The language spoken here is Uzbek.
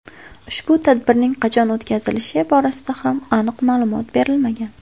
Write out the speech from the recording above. Ushbu tadbirning qachon o‘tkazilishi borasida ham aniq ma’lumot berilmagan.